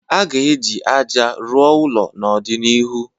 A ga-eji ájá rụọ ụlọ n'ọdịnihu